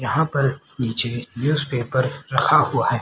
यहां पर नीचे न्यूज़ पेपर रखा हुआ है।